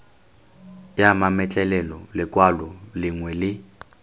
ya mametlelelo lekwalo lengwe le